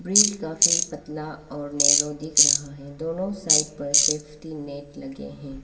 Bridge काफी पतला और नैरो दिख रहा है दोनों साइड पर सेफ्टी नेट लगे हैं।